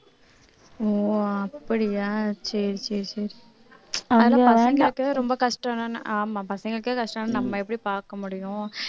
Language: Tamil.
ஆஹ் அப்படியா சரி சரி சரி ரொம்ப கஷ்டம் ஆமா பசங்களுக்கே கஷ்டம்ன்னு நம்ம எப்படி பார்க்க முடியும்